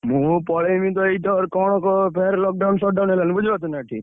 ମୁଁ ପଳେଇବି ଏଇତ କଣ ଫେରେ lockdown shot down ହେଲାଣି ବୁଝିପାରୁଛନା ଏଠି?